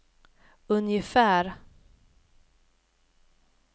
ungefär